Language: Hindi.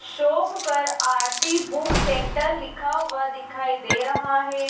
शोप आरती बुक सेंटर लिखा हुआ दिखाई दे रहा है।